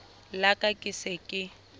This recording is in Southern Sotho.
la ka ke se ke